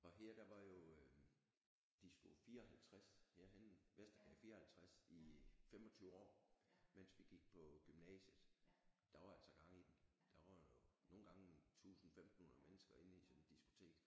Og her der var jo Disko 54 herhenne Vestergade 54 i 25 år mens vi gik på gymnasiet der var altså gang i den der var jo nogle gange 1000 1500 mennesker inde i sådan et diskotek